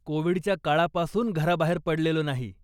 कोविडच्या काळापासून घराबाहेर पडलेलो नाही.